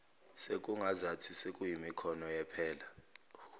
sekungazathi sekuyimikhono yephela